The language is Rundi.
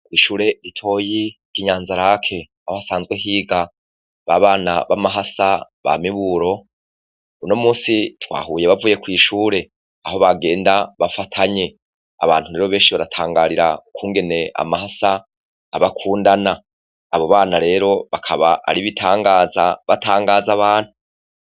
Ishure ritoyi ryi nyaza-lac aho hasanzwe higa babana bamahasa ba miburo uno munsi twahuye bavuye kwishure aho bagenda bafatanye abantu rero benshi baratangarira ukwungene amahasa aba akundana abo bana rero bakaba ari ibitangaza natangaza abantu